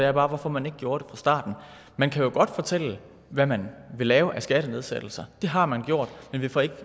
er bare hvorfor man ikke gjorde det fra starten man kan jo godt fortælle hvad man vil lave af skattenedsættelser det har man gjort